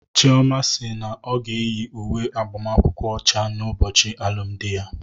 Chioma si na ọ ga-eyi uwe agbamakwụkwọ ọcha n'ụbọchị alụmdi ya.